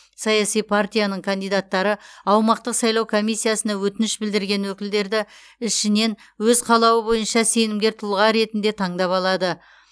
саяси партияның кандидаттары аумақтық сайлау комиссиясына өтініш білдірген өкілдерді ішінен өз қалауы бойынша сенімгер тұлға ретінде таңдап алады